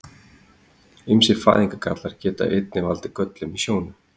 Ýmsir fæðingargallar geta einnig valdið göllum í sjónu.